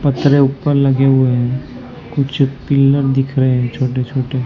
पटरे ऊपर लगे हुए हैं कुछ पिलर दिख रहे हैं छोटे छोटे--